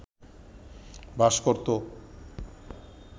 বাস করত